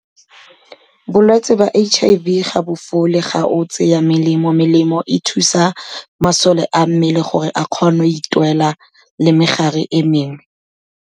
Bolwetsi ba H_I_V ga bo fole ga o tseya melemo, melemo e thusa masole a mmele gore a kgone go itwela le megare e mengwe.